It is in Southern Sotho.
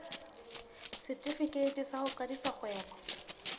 setefikeiti sa ho qadisa kgwebo